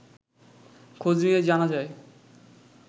খোঁজ নিয়ে জানা যায়